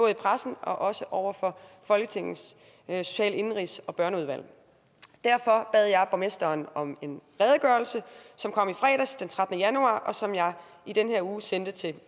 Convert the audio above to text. i pressen og også over for folketingets social indenrigs og børneudvalg derfor bad jeg borgmesteren om en redegørelse som kom i fredags den trettende januar og som jeg i den her uge sendte til